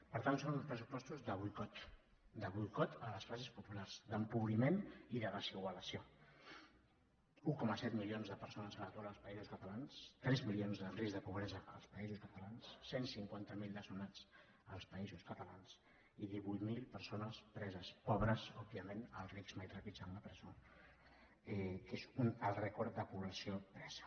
per tant són uns pressupostos de boicot de boicot a les classes populars d’empobriment i de desigualació un coma set milions de persones a l’atur als països catalans tres milions en risc de pobresa als països catalans cent i cinquanta miler desnonats als països catalans i divuit mil persones preses pobres òbviament els rics mai trepitgen la presó que és el rècord de població presa